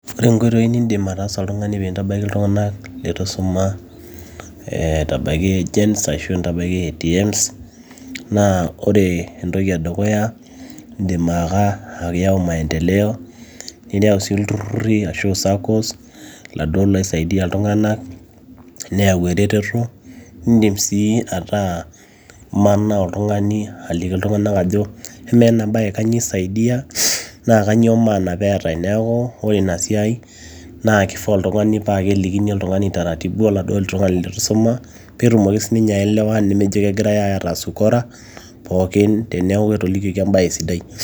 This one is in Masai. ore inkoitoi nindim ataasa oltung'ani piintabaiki iltung'anak letu isuma eh aitabaiki agents ashu intabaiki ATMS naa ore entoki edukuya indim ake ayau maendeleo niyau sii ilturruri ashu saccos laduo loisaidia iltung'anak neyau eretoto indim sii ataa imanaa oltung'ani aliki iltung'anak ajo ama ena baye kanyio isaidia naa kanyio maana peetae neeku ore ina siai naaa kifaa oltung'ani paa kelikini oltung'ani taratibu oladuo tung'ani letu isuma peetumoki sininye aelewa nemejo kegirae aitaas ukora pookin teneeku etolikioki embaye sidai.